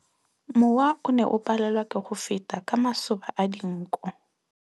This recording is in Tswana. Mowa o ne o palelwa ke go feta ka masoba a dinko.